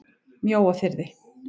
Mjóafirði